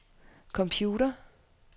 computer